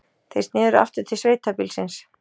Þeir sneru aftur til sveitabýlisins.